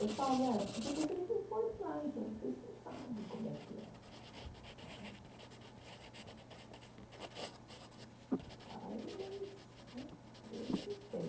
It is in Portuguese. Eu falo, é porque vocês não foram lá, então vocês não sabem como é que é. Ai, mas eu não sei.